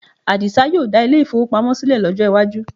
Àdìsá yóò dá ilé-ìfowópamọ́ sílẹ̀ lọ́jọ́ iwájú